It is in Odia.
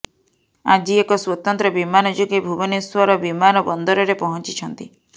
ଆଜି ଏକ ସ୍ୱତନ୍ତ୍ର ବିମାନ ଯୋଗେ ଭୁବନେଶ୍ୱର ବିମାନ ବନ୍ଦରରେ ପହଞ୍ଚିଛନ୍ତି